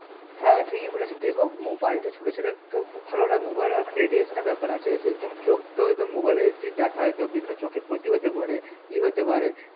হ্যাঁ ঠিকই বলেছিস এবং mobile টা ছোট ছেলের পক্ষে খুব ভালোলই mobile এ radiation এর ব্যাপার আছে যদি তোমার চোখ তো একদম mobile এ যদি দেখা হয় তো বিভিন্ন চোখের ক্ষতি হতে পারে ই হতে পারে